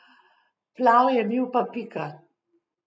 Plav je bil, pa pika.